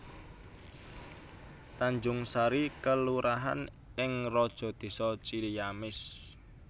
Tanjungsari kelurahan ing Rajadesa Ciamis